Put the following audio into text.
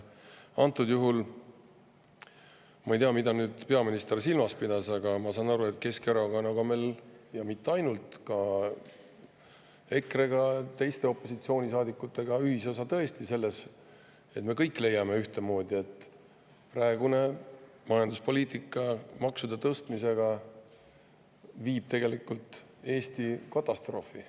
Antud juhul ma ei tea, mida peaminister silmas pidas, aga ma saan aru, et Keskerakonnaga meil – ja mitte ainult, ka EKRE-ga, teiste opositsioonisaadikutega – ühisosa tõesti on selles, et me kõik leiame ühtemoodi: praegune majanduspoliitika maksude tõstmisega viib tegelikult Eesti katastroofi.